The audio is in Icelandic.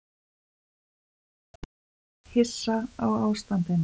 Ferðamenn hissa á ástandinu